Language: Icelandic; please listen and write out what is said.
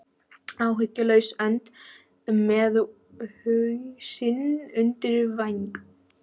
Áhyggjulaus önd með hausinn undir væng.